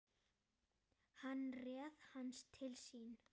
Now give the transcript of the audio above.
Hann réð hana til sín.